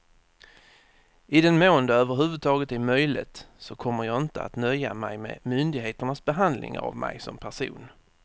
I den mån det över huvud taget är möjligt så kommer jag inte att nöja mig med myndigheternas behandling av mig som person.